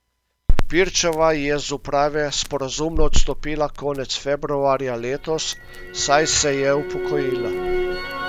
Pirčeva je z uprave sporazumno odstopila konec februarja letos, saj se je upokojila.